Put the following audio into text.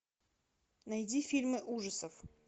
найди фильмы ужасов